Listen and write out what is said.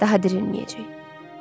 Daha dirilməyəcək.